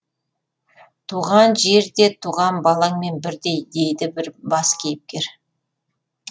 туған жер де туған балаңмен бірдей дейді бір бас кейіпкер